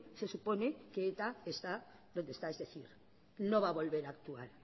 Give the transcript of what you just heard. se supone que eta está donde está es decir no va volver a actuar